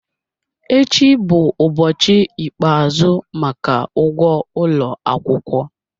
Echi bụ ụbọchị ikpeazụ maka ụgwọ ụlọ akwụkwọ